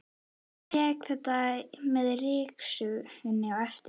Ég tek þetta með ryksugunni á eftir.